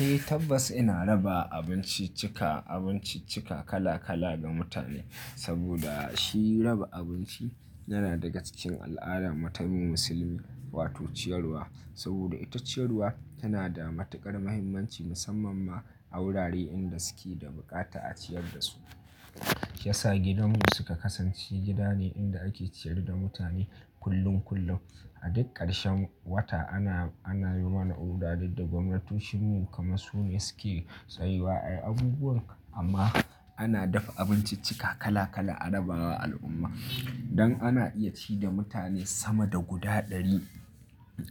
Eh tabbas ina raba abinciccika, abinciccika kala-kala ga mutane saboda shi raba abinci yana daga cikin al'adar mu ta mu musulmi wato ciyarwa saboda ita ciyarwa tana da matuƙar muhimmanci, musamman ma a wurare inda suke da bukata a ciyar da su. Ya sa gidan mu suka kasance gida ne inda ake ciyar da mutane kullum kullum. A duk ƙarshen wata ana, ana yi mana oda duk da gwamnatoshin mu kamar su ne suke tsayuwa ayi abubuwan amma ana dafa abinciccika kala kala a raba wa al'umma. Don ana iya ci da mutane sama da guda ɗari,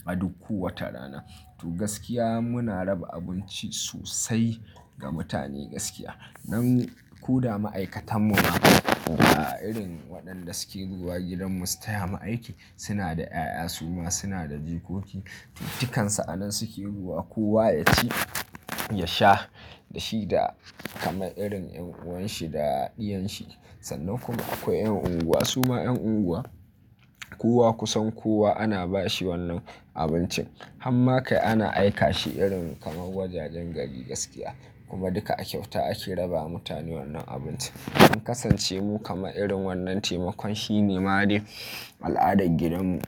a duk kowace rana. To gaskiya muna raba abinci sosai ga mutane gaskiya. Nan koda ma'aikatan mu ma ba irin waɗanda suke zuwa gidan mu su taya mu aiki suna da 'ya'ya su ma suna da jikoki. Dukansu a nan suke zuwa kowa ya ci, ya sha da shi da kamar irin ƴan uwan shi da ɗiyan shi. Sannan kuma akwai ƴan unguwa su ma ƴan unguwa kowa kusan kowa ana ba shi wannan abincin. Han ma kai ana aika shi irin kaman wajajen gari gaskiya, kuma duka a kyauta ake raba wa mutane wannan abinci. Mun kasance mu kaman irin wannan taimakon shi ne ma de al'adar gidan mu,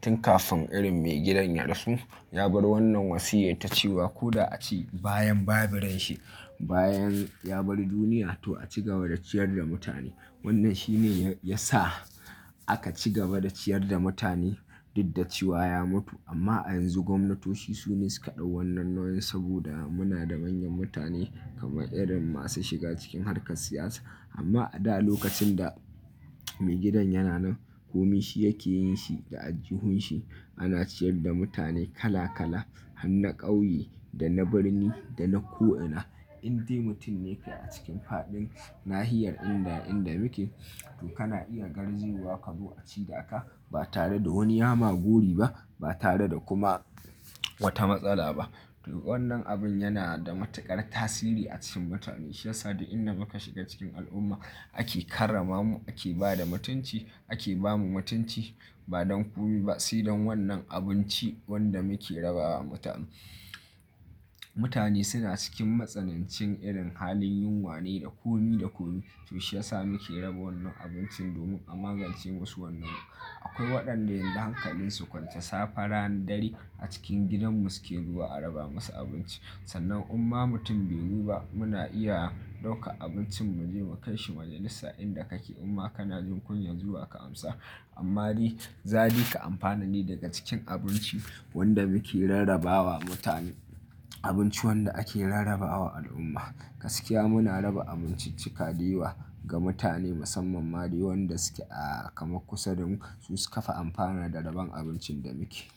tun kafin irin mai gidan ya rasu. Ya bar wannan wasiya ta cewa ko da a ce bayan ba bu ran shi, bayan ya bar duniya, to a ci gaba da ciyar da mutane. Wannan shi ne ya sa aka ci gaba da ciyar da mutane, duk da cewa ya mutu amma a yanzu gwamnatoci su ne suka ɗau wannan nauyi, saboda mu na da manyan mutane, kamar irin masu shiga cikin harkar siyasa. Amma a da lokacin da mai gidan yana nan, komai shi yake yin shi, da aljuhun shi, ana ciyar da mutane kala-kala har na ƙauye, da na birni, da na ko'ina. Inde mutum ne kai a cikin fadin nahiyar inda, inda muke to kana iya garzaya ka zo a ci da aka, ba tare da wani ya ma gori ba, ba tare da kuma wata matsala ba. To wannan abun yana da matuƙar tasiri a cikin mutane, shi ya sa da inda muka shiga cikin al'umma, ake karrama mu, ake ba da mutunci, ake ba mu mutunci, ba don komai ba sai don wannan abinci wanda muke raba wa mutane. Mutane suna cikin matsanancin irin halin yunwa ne da komi da komi. To shi ya sa muke raba wannan abincin domin a magance musu wannan. Akwai waɗanda yanzu hankalin su kwance, safe, rana, dare, a cikin gidan mu suke zuwa a raba musu abinci. Sannan in ma mutum bai zo ba muna iya ɗauka abincin mu je mu kai shi wajen bisa inda kake in ma kana jin kunya zuwa ka amsa. Amman za dai ka amfana ne daga cikin abinci, wanda muke rarrabawa mutane. Abinci wanda ake rarrabawa al'umma. Gaskiya muna raba abinciccika dayawa, ga mutane musamman ma dai wanda suke a kamar kusa da mu, su su kafa amfana da rabon abincin da muke.